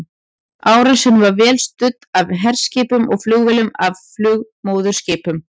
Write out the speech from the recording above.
Árásin var vel studd af herskipum og flugvélum af flugmóðurskipum.